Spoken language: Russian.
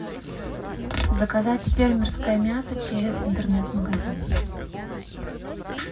заказать фермерское мясо через интернет магазин